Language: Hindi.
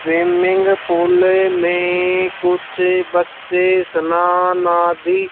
स्विमिंग पूल में कुछ बच्चे स्नान आदि--